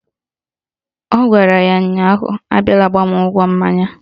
Ọ gwara ya ụnyaahụ "Abiala gbaa mụ ụgwọ mmanya"!